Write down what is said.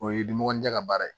O ye diminɔgɔn tɛ ka baara ye